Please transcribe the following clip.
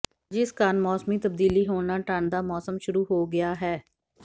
ਜਿਸ ਕਾਰਨ ਮੌਸਮੀ ਤਬਦੀਲੀ ਹੋਣ ਨਾਲ ਢੰਡ ਦਾ ਮੌਸਮ ਸ਼ੁਰੂ ਹੋ ਗਿਆ ਹੈ